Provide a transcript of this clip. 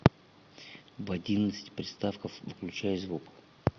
в одиннадцать приставка выключай звук